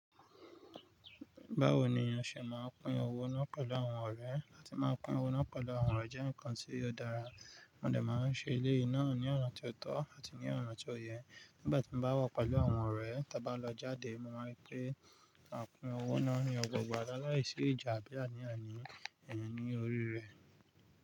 Báwo ni o ṣẹ máa ń pin owó náà pẹ̀lú àwọn ọ̀rẹ́ áti máa pin owó náà pẹ̀lú àwọn ọ̀rẹ́ jẹ́ ǹkan tí ó dára, wọ́n lè máa ṣe eléyìí náà ní ọ̀nà tó tọ́ àti ní ọ̀nà tó yẹ. Nígbà tí mo bá wà pẹ̀lú àwọn ọ̀rẹ́ tí a bá lọ jáde, mo máa pè à pín owó náà ní ọgbà ọgbà laláìsí ìjà bí àníànì iyẹn ni orí rẹ̀.